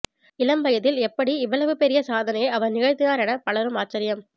இளம் வயதில் எப்படி இவ்வளவு பெரிய சாதனையை அவர் நிகழ்த்தினார் என பலரும் ஆச்சரியம்